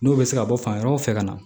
N'o bɛ se ka bɔ fan wɛrɛw fɛ ka na